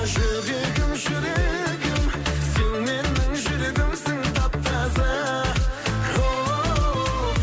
жүрегім жүрегім сен менің жүрегімсің тап таза хоу